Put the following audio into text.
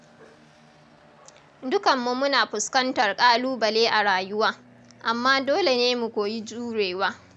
Dukanmu muna fuskantar ƙãlubale a rayuwa, amma dole ne mu koyi jurewa.